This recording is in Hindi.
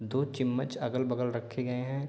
दो चिम्मच अगल-बगल रखे गए हैं।